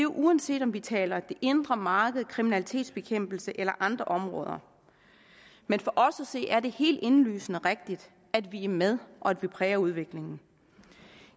uanset om vi taler det indre marked kriminalitetsbekæmpelse eller andre områder men for os at se er det helt indlysende rigtigt at vi er med og at vi præger udviklingen